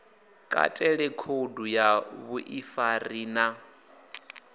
katele khoudu ya vhuḓifari na